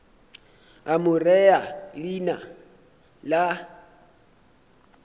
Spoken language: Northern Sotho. a mo rea leina la